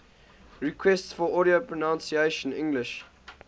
requests for audio pronunciation english